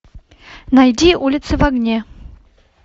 найди улицы в огне